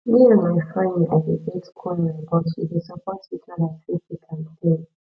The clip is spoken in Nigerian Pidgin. me and my friend i dey get quarrel but we dey support each other through thick and thin